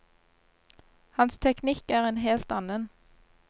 Hans teknikk er en helt annen.